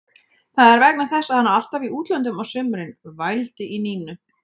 Það er vegna þess að hann er alltaf í útlöndum á sumrin, vældi í Nínu.